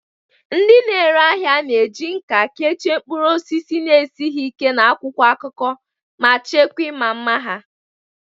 Ndị na-ere ahịa na-eji nkà kechie mkpụrụ osisi na-esighị ike n'akwụkwọ akụkọ, na-echekwa ịma mma ha.